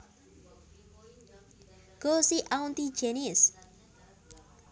Go see auntie Janice